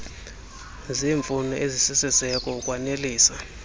zeemfuno ezisisiseko ukwanelisa